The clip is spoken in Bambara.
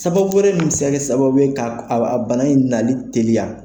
Sababu wɛrɛ minbi se ka kɛ sababu ye k'a bana in nali teliya.